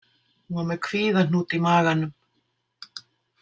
Hún var með kvíðahnút í maganum.